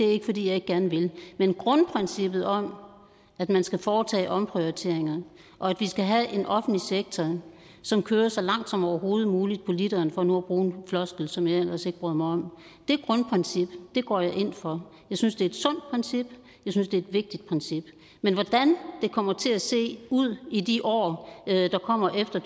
det er ikke fordi jeg ikke gerne vil men grundprincippet om at man skal foretage omprioriteringer og at vi skal have en offentlig sektor som kører så langt som overhovedet muligt på literen for nu at bruge en floskel som jeg ellers ikke bryder mig om går jeg ind for jeg synes det er et sundt princip jeg synes det er et vigtigt princip men hvordan det kommer til at se ud i de år der kommer efter